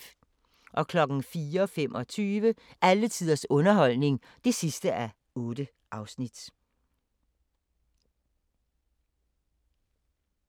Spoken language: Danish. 04:25: Alle tiders underholdning (8:8)*